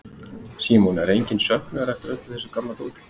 Símon: Er enginn söknuður eftir öllu þessu gamla dóti?